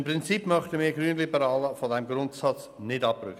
Im Prinzip möchten wir Grünliberalen von diesem Grundsatz nicht abrücken.